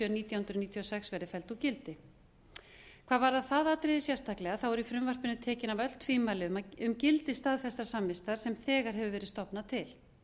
nítján hundruð níutíu og sex verði felld úr gildi hvað varðar það atriði sérstaklega eru í frumvarpinu tekin af öll tvímæli um gildi staðfestrar samvistar sem þegar hefur verið stofnað til